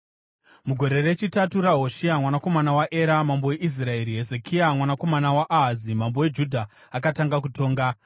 Mugore rechitatu raHoshea mwanakomana waEra Mambo weIsraeri, Hezekia mwanakomana waAhazi mambo weJudha akatanga kutonga.